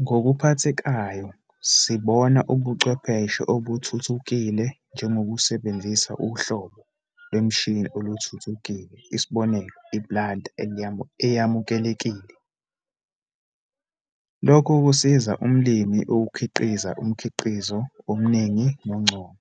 Ngokuphathekayo, sibona ubuchwepheshe obuthuthukile njengokusebenzisa uhlobo lwemishini oluthuthukile, isibonelo iplanta eyamukelekile, lokho kusiza umlimi ukukhiqiza umkhiqizo omningi nongcono.